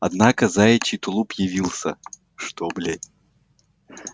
однако заячий тулуп явился что блять